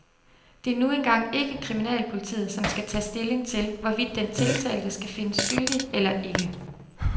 Det er nu engang ikke kriminalpolitiet, som skal tage stilling til, hvorvidt den tiltalte skal findes skyldig eller ikke.